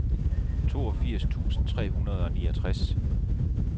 toogfirs tusind tre hundrede og niogtres